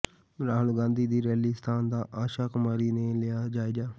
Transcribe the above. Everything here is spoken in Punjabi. ਰਾਹੁਲ ਗਾਂਧੀ ਦੀ ਰੈਲੀ ਸਥਾਨ ਦਾ ਆਸ਼ਾ ਕੁਮਾਰੀ ਨੇ ਲਿਆ ਜਾਇਜ਼ਾ